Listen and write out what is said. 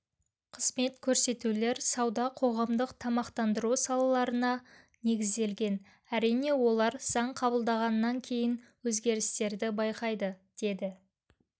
қызмет көрсетулер сауда қоғамдық тамақтандыру салаларына негізделген әрине олар заң қабылданғаннан кейін өзгерістерді байқайды деді